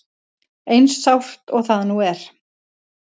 Eins sárt og það nú er.